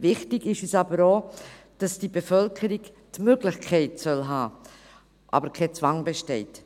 Wichtig ist uns aber auch, dass die Bevölkerung die Möglichkeit haben soll, dass aber kein Zwang besteht.